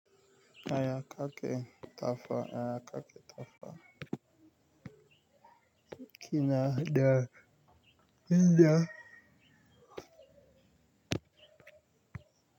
Yaya ka ke kafa? Yaya ka ke kafa? Kina da, ina.